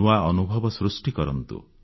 ନୂଆ ଅନୁଭବ ସୃଷ୍ଟି କରନ୍ତୁ